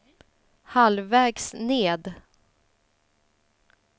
halvvägs ned